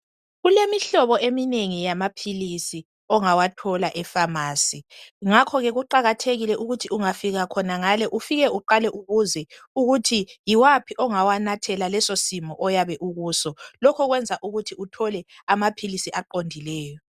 Kulemihlobo eminengi yamaphilisi ongawathola e pharmacy ngakho ke kuqakathekile ukuthi ungafika khonangale ufike uqale ubuze ukuthi yiwaphi ongawanathela leso simo oyabe ukuso lokho kwenza ukuthi uthole amaphilisi aqondileyo.